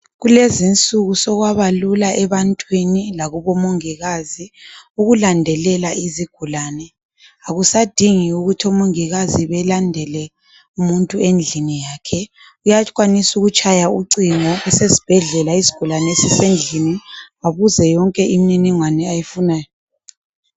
Kulezinsuku sokwabalula ebantwini lakubo Mongikazi ukulandelela izigulane. Akusadingi ukuthi oMongikazi belande umuntu endlini yakhe, uyakwanisa uyatshaya ucingo esiSibhedlela kusigulane esisendlini abuze yonke imininingwane ayifunayo.